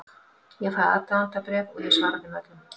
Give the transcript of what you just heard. Ég fæ aðdáendabréf og ég svara þeim öllum.